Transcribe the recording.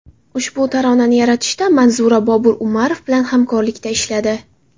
Ushbu taronani yaratishda Manzura Bobur Umarov bilan hamkorlikda ishladi.